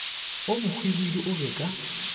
wo mohwibidu o be ka